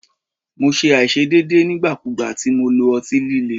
Mo ṣe aiṣedeede nigbakugba ti Mo lo ọti-lile